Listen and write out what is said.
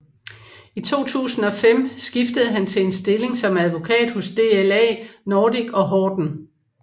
I 2005 skiftede han til en stilling som advokat hos DLA Nordic og Horten